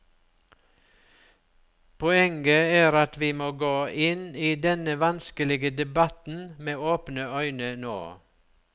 Poenget er at vi må gå inn i denne vanskelige debatten med åpne øyne nå.